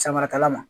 Samarakala ma